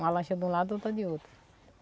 Uma lancha de um lado, outra de outro.